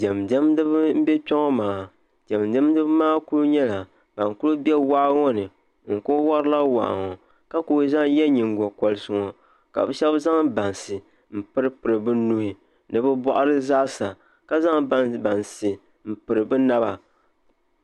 Diɛm diɛmdibi n bɛ kpɛ ŋɔ maa diɛm diɛmdiba maa ku nyɛla ban ku bɛ waa ŋɔ ni n ku worila waa ŋɔ ka ku yɛ nyingokoriti ŋɔ ka bi shab zaŋ bansi n piripiri bi nuu ni bi boɣari zaasa ka zaŋ bansi n piri bi naba